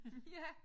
Ja